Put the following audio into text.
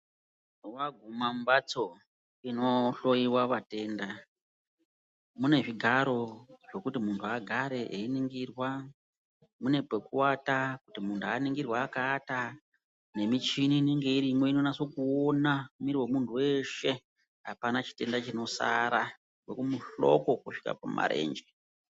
Waguma mumbatso inohloiwa matenda mune zvigaro zvekuti munhunagare einhingirwa, mune pekuwata kuti muntu aningirwe akawata nemichini inenge irimwo inonase kuona miri wemunhu weshe apana chitenda chinosara kubve kumuhloko kuzvike kumarenje.